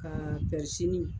Ka